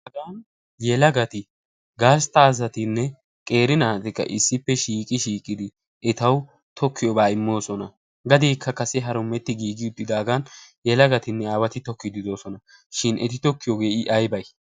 Hagan yelagat gastta satinne qeeri naati issippe shiiqi shiiqidi etawu tokkiyobaa immoosona. Gadeekka kase harummetti daagan yelagatinne aawati tokkiydfi doosona. Shin eti tokkiyogee I aybay?